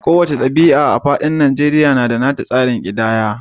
Kowace kabila a faɗin Najeriya na da nata tsarin kidaya.